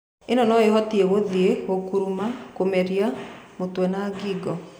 Ĩno no ĩhutĩe gũthie, gũkuruma, kũmeria, mũtwe na gingo.